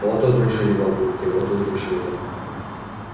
вот удружили бабульки вот удружили